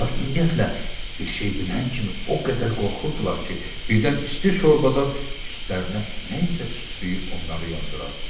Onlar ümumiyyətlə bir şey bilən kimi o qədər qorxurdular ki, birdən isti şorbada n üstlərinə nə isə sıçrayıb onları yandırar.